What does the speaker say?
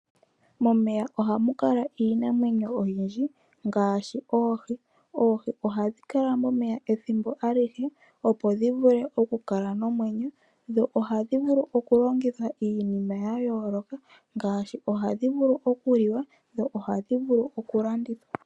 Momeya ohamu kala iinamwenyo oyindji ngaashi oohi. Oohi ohadhi kala mo meya ethimbo a lihe opo dhi vule oku kala nomwenyo, dho ohadhi vulu oku longithwa iinima ya yooloka ngaashi ohadhi vulu oku liwa dho ohadhi vulu oku landitwa.